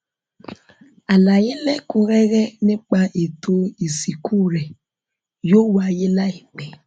àlàyé lẹkùnúnrẹrẹ nípa ètò ìsìnkú rẹ yóò wáyé láìpẹ